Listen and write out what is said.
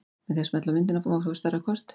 Með því að smella á myndina má fá stærra kort.